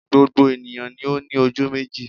Gbogbo ènìyàn ni ó ní ojú méjì